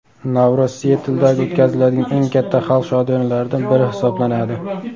Navro‘z Sietldagi o‘tkaziladigan eng katta xalq shodiyonalaridan biri hisoblanadi.